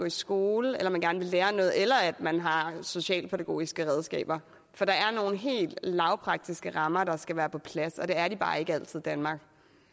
i skole at man gerne vil lære noget eller at man har socialpædagogiske redskaber for der er nogle helt lavpraktiske rammer der skal være på plads og det er de bare ikke altid i danmark